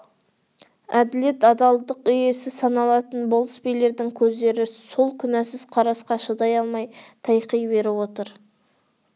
әділет адалдық иесі саналатын болыс билердің көздері сол күнәсіз қарасқа шыдай алмай тайқи беріп отыр